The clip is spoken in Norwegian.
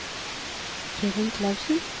Kevin Clausen